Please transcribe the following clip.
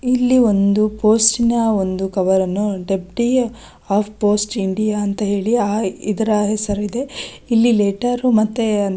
ಇಲ್ಲಿ ಒಂದು ಪೋಸ್ಟ್ನ ಒಂದು ಕವರ್ ಅನ್ನು ಡೆಪ್ಟಿ ಆಫ್ ಪೋಸ್ಟ್ ಇಂಡಿಯಾ ಅಂತ ಹೇಳಿ ಇದರ ಹೆಸರಿದೆ ಇಲ್ಲಿ ಲೆಟರ್ ಮತ್ತೆ --